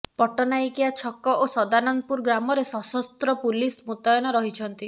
ପଟ୍ଟନାୟକିଆ ଛକ ଓ ସଦାନନ୍ଦପୁର ଗ୍ରାମରେ ସଶସ୍ତ୍ର ପୁଲିସ ମୁତୟନ ରହିଛନ୍ତି